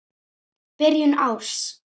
Byrjun árs.